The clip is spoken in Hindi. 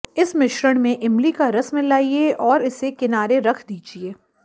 इस मिश्रण में इमली का रस मिलाइये और इसे किनारे रख दीजिये